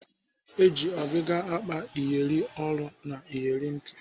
Eji ọgịga akpa iyeri olu na iyeri ntị.